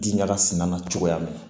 Diɲaga sina cogoya min na